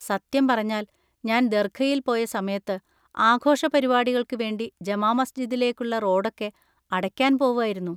സത്യം പറഞ്ഞാൽ, ഞാൻ ദർഘയിൽ പോയ സമയത്ത് ആഘോഷ പരിപാടികൾക്ക് വേണ്ടി ജമാ മസ്ജിദിലേക്കുള്ള റോഡൊക്കെ അടയ്ക്കാൻ പോവായിരുന്നു.